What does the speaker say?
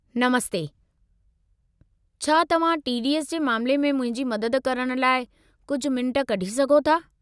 नमस्ते, छा तव्हां टीडीएस जे मामले में मुंहिंजी मदद करण लाइ कुझु मिंटु कढी सघो था?